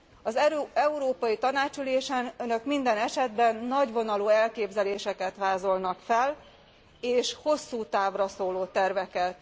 Az Európai Tanács ülésen Önök minden esetben nagyvonalú elképzeléseket vázolnak fel és hosszú távra szóló terveket.